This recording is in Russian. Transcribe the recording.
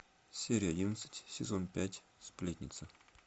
серия одиннадцать сезон пять сплетница